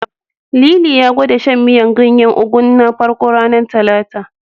Lili ya gwada shan miyar ganyen Ugu na farko, ranar Talata.